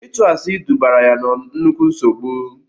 Ịtụ asị dubara ya na nnukwu nsogbu.